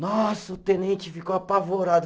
Nossa, o tenente ficou apavorado.